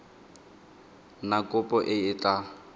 na kopo e e tla